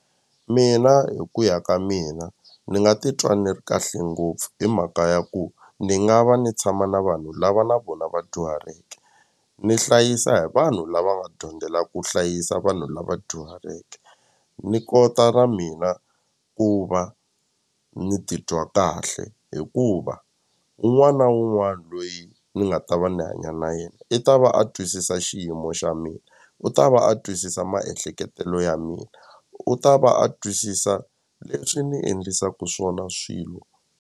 Mina hi ku ya ka mina ni nga titwa ni ri kahle ngopfu hi mhaka ya ku ni nga va ni tshama na vanhu lava na vona va dyuhaleke ni hlayisa hi vanhu lava nga dyondzelaka ku hlayisa vanhu lava dyuhaleke ni kota na mina ku va ni titwa kahle hikuva un'wana na un'wana loyi ni nga ta va ndzi hanya na yena i ta va a twisisa xiyimo xa mina u ta va a twisisa maehleketelo ya mina u ta va a twisisa leswi ni endlisaku swona swilo.